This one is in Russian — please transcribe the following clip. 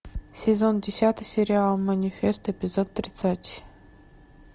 сезон десятый сериал манифест эпизод тридцать